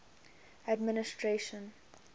administration